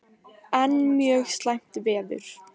Enn mjög slæmt veður